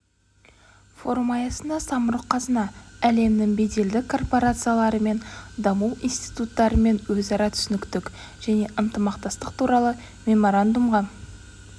форум аясында самұрық қазына әлемнің беделді корпорациялары мен даму институттарымен өзара түсіністік және ынтымақтастық туралы меморандумға